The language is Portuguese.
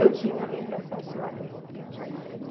Eu tinha livre acesso lá dentro.